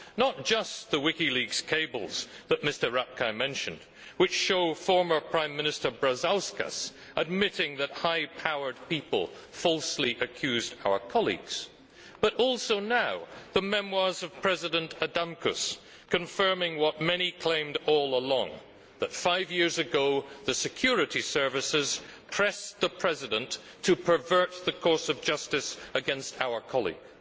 not just the WikiLeaks cables that Mr Rapkay mentioned, which show former Prime Minister Brazauskas admitting that high powered people falsely accuse our colleagues, but also now the memoirs of President Adamkus, confirming what many claimed all along, that five years ago the security services pressed the President to pervert the course of justice against our colleague.